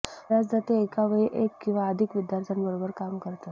बर्याचदा ते एका वेळी एक किंवा अधिक विद्यार्थ्यांबरोबर काम करतात